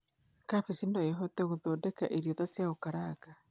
Kambĩji no ĩhũthĩke gũthondeka irio ta cia gũkaranga